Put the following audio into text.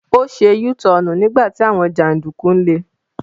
Ó se Yúú tọọ̀nù nígbà tí àwọn jàǹdùkú ń le.